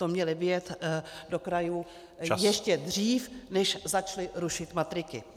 To měli vyjet do krajů ještě dřív , než začali rušit matriky.